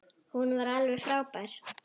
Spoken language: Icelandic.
Hún var alveg frábær.